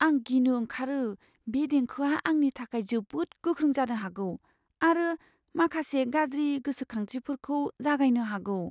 आं गिनो ओंखारो बे देंखोआ आंनि थाखाय जोबोद गोख्रों जानो हागौ आरो माखासे गाज्रि गोसोखांथिफोरखौ जागायनो हागौ।